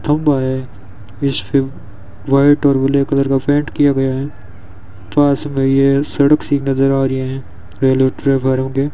थंबा है इसके व्हाइट और ब्लू कलर का पेंट किया गया है पास मे ये सड़क सी नजर आ रही है रेलवे --